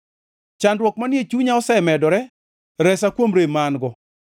Chandruok manie chunya osemedore; resa kuom rem ma an-go.